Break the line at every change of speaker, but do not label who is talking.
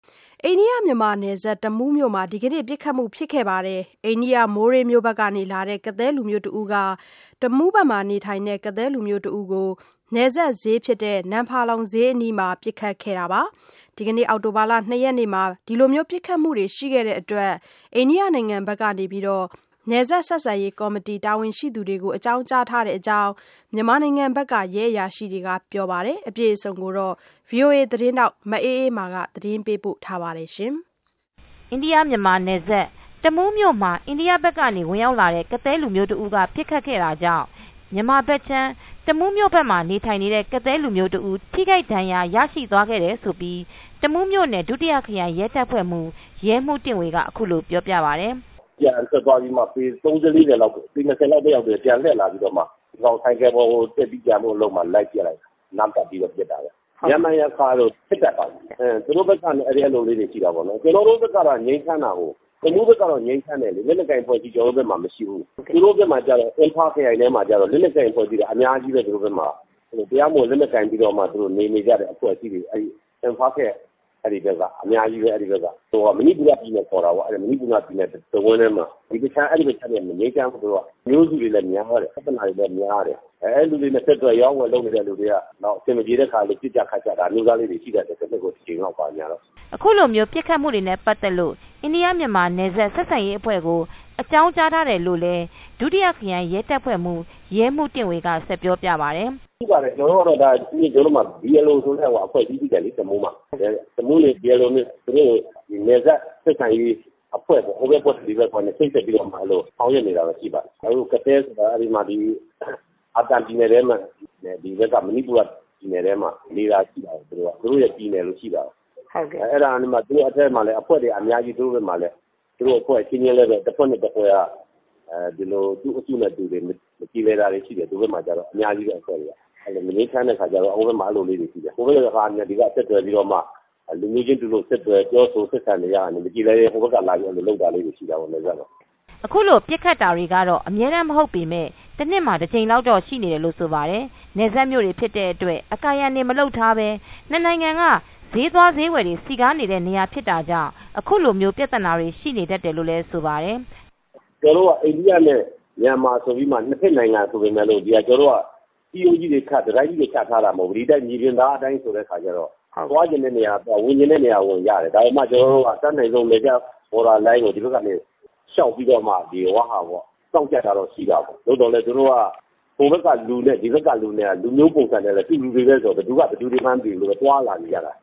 အိန္ဒိယ- မြန်မာနယ်စပ် တမူးမြို့မှာ အိန္ဒိယမိုးရေးမြို့ဘက်ကလာတဲ့ ကသည်း လူမျိုးတဦးက တမူးဘက်မှာနေထိုင်နေတဲ့ ကသည်းလူမျိုးတဦးကို နယ်စပ်ဈေးဖြစ်တဲ့ နမ်ဖာလုံဈေးအနီးမှာ အောက်တိုဘာလ ၂ရက်နေ့ကပစ်ခတ်မှုဖြစ်ခဲ့ပါတယ်။ ဒီလိုပစ်ခတ်မူတွေရှိတဲ့အတွက် အိန္ဒိယနိုင်ငံဘက်က နယ်စပ်ဆက်ဆံရေးကော်မတီက တာဝန်ရှိသူတွေကို အကြောင်းကြားထားတဲ့အကြောင်း မြန်မာဘက်က ရဲအရာရှိတွေကပြောပါတယ်။ မအေးအေးမာ သတင်းပေးပို့ ထားပါတယ်။ အိန္ဒိယ-မြန်မာနယ်စပ် တမူးမြို့မှာ အိန္ဒိယဘက်ကနေ ဝင
်ရောက်လာတဲ့ကသည်းလူမျိုးတဦးက ပစ်ခတ်ခဲ့တာေြံကာင့် မြန်မာဘက်ခြမ်းတမူးမြိုမှာနေထိုင်နေတဲ့ကသည်းလူမျိုးတဦး ထိခိုက်ဒဏ်ရာရရှိသွားခဲ့တယ်လို့ တမူးမြိုနယ် ဒုတိယခရိုင်ရဲတပ်ဖွဲမူး ရဲမူးတင့်ဝေကအခုလို ပြောပြပါတယ် ။
“ပြန်ထွက်သွားပြီးမှ ပေ ၃၀ - ၄၀ လောက်မှာ ပြန်လှည့်လာပြီးတော့မှ ဆိုင်ကယ်ပေါ်ကိုတက်ပြီး ပြန်ဖို့လုပ်တဲ့နေရာမှာပစ်လိုက်တာ ။ အနားကပ်ပြီးတော့ ပစ်တာပဲ ၊ ရံဖန်ရံခါဖြစ်တတ်ပါတယ် သူတို့ဘက်ကအဲလိုလေးတွေရှိတာပေါ့နော်။ ကျနော်တို့ဘက်က တမှုးဘက်ကတော့ ငြိမ်းချမ်းတယ်။ လက်နက်ကိုင်အဖွဲ့အစည်း ကျနော်တို့ဘက်မှာမရှိဘူး။ သူတို့ဘက်က ကျတော့ လက်နက်ကိုင်အဖွဲ့အစည်း အများကြီးပဲ၊ သူတို့ဘက်မှာက တရားမဝင်လက်နက်ကိုင်ပြီးတော့ နေနေကြတဲ့အဖွဲ့အစည်းတွေ အဲဒီဘက်ကအများကြီးပဲ။ မဏိပူ တဝိုက်ဘက်မှာ အဲဒီအခြမ်းတွေက မငြိမ်းချမ်းဘူး။ အုပ်စုတွေလည်းများတယ်၊ ပြဿနာတွေလည်းများတယ်။ အဲဒီလူတွေနဲ့ အဆက်အသွယ်အရောင်းအဝယ်လုပ်နေတဲ့လူတွေက အဆင်မပြေတဲ့အခါ ပစ်ကြခတ်ကြတာ အဲလိုမျိုးတွေရှိတတ်တယ်။”
အခုလိုပစ်ခတ်မူနဲ့ ပတ်သက်လို့အိန္ဒိယ- မြန်မာနယ်စပ်ဆက်ဆံရေးအဖွဲ့ကို အကြောင်းကြား ထားတယ် လို့လည်း ဒုတိယ ခရိုင်ရဲတပ်ဖွဲမှူးရဲမူးတင့်ေ၀ က ဆက်ပြောပြပါတယ်။
“ကျနော်တို့မှာ BLO ဆိုတဲ့ အဖွဲ့အစည်း တမူးမှာရှိတယ်လေ။ သူတို့နဲ့ နယ်စပ်ဆက်ဆံရေးအဖွဲ့ပေါ့ ဟိုဘက်နဲ့ ချိတ်ဆက်ပြီးတော့မှ ဆောင်ရွက်နေတာရှိပါတယ်။ ကသဲဆိုတာ ဒီဘက်က မဏီပူရပြည်နယ်ထဲမှာ သူတို့ရဲ့ပြည်နယ်လိုရှိပါတယ်။ အဲဒါနဲ့မှ သူတို့အထဲမှာလည်းအများကြီး သူတို့အဖွဲ့အချင်းချင်း တဖွဲ့နဲ့ တဖွဲ့က သူ့အုပ်စုနဲ့သူ မပြေလည်တာတွေရှိတယ်အများကြီးပဲ အဖွဲ့တွေက ။ မငြိမ်းချမ်းတဲ့အခါကျတော့ သူတို့က ဒီဘက်ကနေဆက်သွယ်ပြီးတော့မှ လူမျိုးချင်းတူတာတွေကို ဆက်သွယ်ပြီးတော့မှ မပြေလည်ရင် ဟိုဘက်က လာပြီးတော့မှ လုပ်တာလေးတွေရှိတာပေါ့။
” အခုလိုပစ်ခတ်တာတွေတော့ အမြဲတမ်းမဟုတ်ပေမယ့် တနှစ်တကြိမ်လောက်ရှိနေတယ်လို့ဆိုပါတယ်။ နယ်စပ်မြို့တွေဖြစ်တဲ့အတွက် အကာအရန် တွေမလုပ်ထားပဲ နှစ်နိုင်ငံကဈေးသွားဈေးဝယ်တွေနဲ့ စည်ကားနေတဲ့နေရာဖြစ်တာကြောင့် အခုလိုမျိုးပြဿနာတွေရှိနေတတ်တယ်လို့ လည်းဆိုပါတယ်။
“ကျနော်တို့က အိန္ဒိယ နဲ့မြန်မာဆိုပြီးတော့မှ ၂ ဘက် နိုင်ငံဆိုပေမယ့် ခြံစည်းရိုးတွေခတ်၊ တတိုင်းကြီးတွေ ခတ် ထားတာမဟုတ်ဘူး၊ ဒီအတိုင်းမြေပြင်အတိုင်းဆိုတော့ သွားချင်တဲ့နေရာကသွား၊ ဝင်ချင်တဲ့နေရာက ဝင်ကြတယ်။ အဲဒီမှာ ကျနော်တို့က အတက်နိုင်ဆုံး နယ်စပ် border line တွေမှာတော့ စောင့်ကြပ်တာတော့ရှိတာပေါ့။ သို့သော်လည်း သူတို့က ဟိုဘက်က လူနဲ့ ဒီဘက်ကလူနဲ့က လူမျိုးပုံစံတွေကလည်း အတူတူပဲဆိုတော့ ဘယ်သူက ဘယ်သူတွေမှန်းမသိဘူး၊ သွားလာနေကြတာ